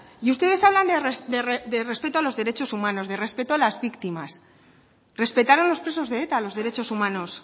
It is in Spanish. y ustedes hablan de respeto a los derechos humanos de respeto a las víctimas respetaron los presos de eta los derechos humanos